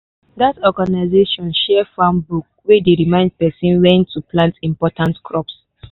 that organization share farm book wey dey remind pesin when to plant important crops.